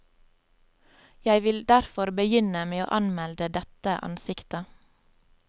Jeg vil derfor begynne med å anmelde dette ansiktet.